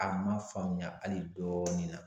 A ma faamuya hali dɔɔnin na